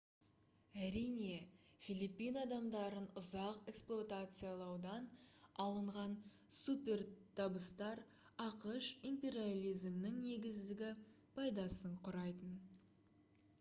әрине филиппин адамдарын ұзақ эксплуатациялаудан алынған супертабыстар ақш империализмінің негізгі пайдасын құрайтын